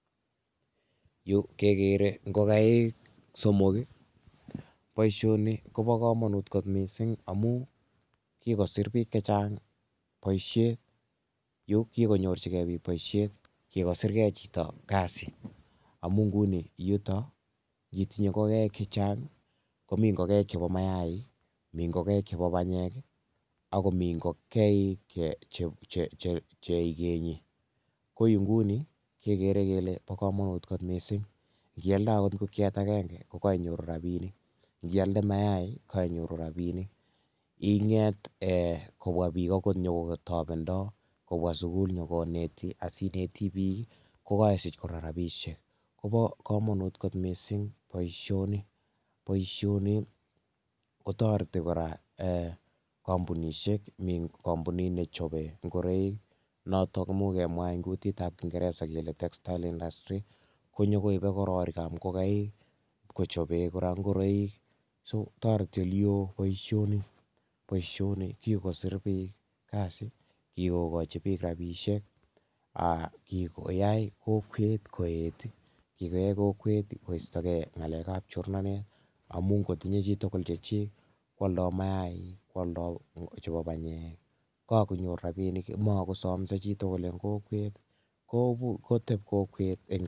Yu, kegere ngogaik somok. boisoni kobo komonut kot missing amu kikosir biik chechang' boisiet. Yu kikoknyorchikei biik boisiet. Kikosirikei chito kasi, amu nguni yutok, yeitinye ngogaik chechang', komi ngogaik chebo mayaik, mi ngogaik chebo panyek, akomi ngogaik che um ikenyi, Ko yu nguni, kegere kole bo komonut kot missing. Ngialde angot ngokiet agenge, kokainyoru rabinik, ngialde mayaik, kainyoru rabinik, inget um kobwa bik angot nyikotobendo, kobwa sugul nyikoneti, asineti biik, kokakosich kora rabisiek. Kobo komonut kot missing boisoni. Boisoni kotoreti kora kampunishek, mi kampunit nechechope ngoroik, notok komuch kemwa eng' kutitab kingeresa kele textile industry. Konyokoibe ng'ororikab ngogaik kochope kora ngoroiik. So toreti ole oo boisoni. Boisoni kikosir biik kasi, kikokochi biik rabisiek, um kikoyai kokwet koet, kikoyai kokwet koistokeiy ng'alekab chornanet, amu ngotinye chi tugun chechik, kwaldai mayaik, kwaldoi chebo panyek, kakonyor rabinik, makosomse chitugul eng' kokwet. Kobur, koteb kokwet eng'...